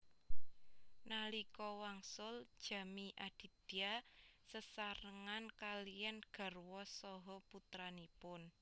Nalika wangsul Jamie Aditya sesarengan kaliyan garwa saha putranipun